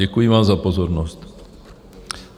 Děkuji vám za pozornost.